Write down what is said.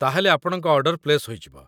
ତା'ହେଲେ ଆପଣଙ୍କ order place ହୋଇଯିବ।